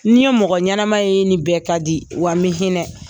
N ye mɔgɔ ɲɛnama ye n ni bɛɛ ka di wa me hinɛ.